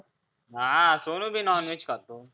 हा सोनु बी नॉनव्हेज खातो.